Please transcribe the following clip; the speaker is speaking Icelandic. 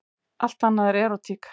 Allt annað er erótík.